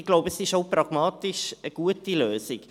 Ich glaube, es ist auch eine gute pragmatische Lösung.